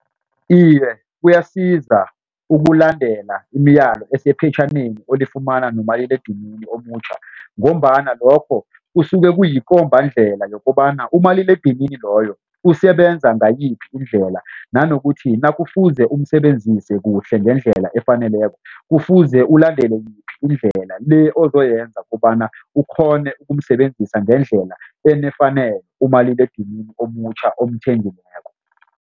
Iye kuyasiza ukulandela imiyalo esephetjhaneni olifumana nomaliledinini omutjha ngombana lokho kusuke kuyikombangendlela yokobana umaliledinini loyo usebenza ngayiphi indlela nanokuthi nakufuze umsebenzise kuhle ngendlela efaneleko kufuze ulandele yiphi indlela le ozoyenza kobana ukghone ukumsebenzisa ngendlela enefanele umaliledinini omutjha omthengileko.